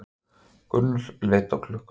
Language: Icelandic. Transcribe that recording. Gunnar leit á klukkuna.